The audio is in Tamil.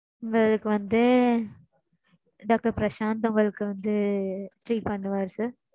உங்களுக்கு வந்து doctor பிரஷாந்த் உங்களுக்கு வந்து treat பண்ணுவார் sir.